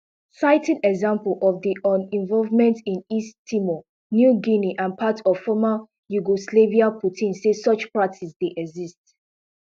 citing examples of di un involvement in east timor new guinea and parts of former yugoslavia putin say such practice dey exist